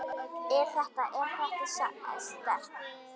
Er þetta. er þetta sterkt?